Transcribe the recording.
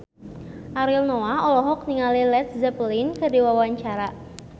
Ariel Noah olohok ningali Led Zeppelin keur diwawancara